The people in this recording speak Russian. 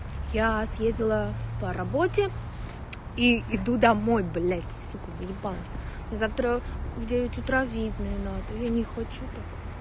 я съездила по работе и иду домой блядь сука заебалось мне завтра в девять утра в видное надо я не хочу так